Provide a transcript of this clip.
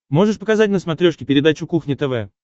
можешь показать на смотрешке передачу кухня тв